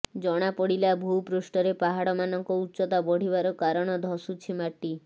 ଜଣାପଡିଲା ଭୂ ପୃଷ୍ଠରେ ପାହାଡମାନଙ୍କ ଉଚ୍ଚତା ବଢିବାର କାରଣ ଧସୁଛି ମାଟି